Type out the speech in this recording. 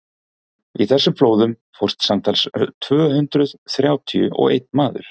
í þessum flóðum fórst samtals tvö hundruð þrjátíu og einn maður